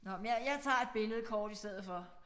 Nåh men jeg jeg tager et billede kort i stedet for